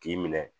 K'i minɛ